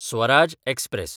Swaraj express